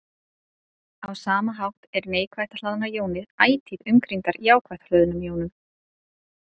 Á sama hátt eru neikvætt hlaðnar jónir ætíð umkringdar jákvætt hlöðnum jónum.